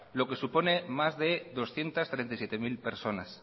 lo que supone más de doscientos treinta y siete mil personas